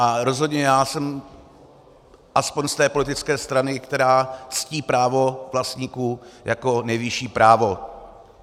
A rozhodně já jsem aspoň z té politické strany, která ctí právo vlastníků jako nejvyšší právo.